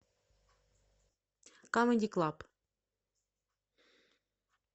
камеди клаб